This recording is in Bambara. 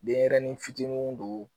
Denɲɛrɛnin fitininw don